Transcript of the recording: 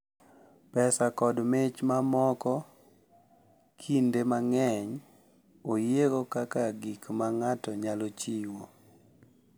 pesa kod mich mamoko kinde mang’eny oyiego kaka gik ma ng’ato nyalo chiwo.